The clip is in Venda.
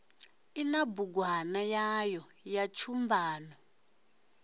ina bugwana yayo ya tshumban